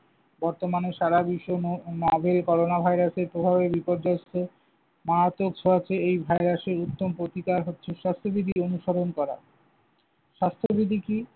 বর্তমানে সারা বিশ্ব করোনা ভাইরাসের প্রভাবে বিপর্যস্ত। মারাত্মক ছোঁয়াচে এই ভাইরাসের উত্তম প্রতিকার হচ্ছে স্বাস্থবিধি অনুসরণ করা। স্বাস্থবিধি কি?